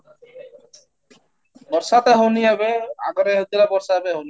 ବର୍ଷା ତ ହଉନି ଏବେ, ଆଗରେ ହଉଥିଲା ବର୍ଷା ଏବେ ହଉନି